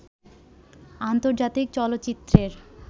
আন্তর্জাতিক চলচ্চিত্রের